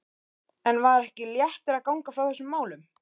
En var ekki léttir að ganga frá þessum málum?